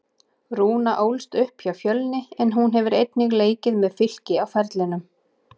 Rúna ólst upp hjá Fjölni en hún hefur einnig leikið með Fylki á ferlinum.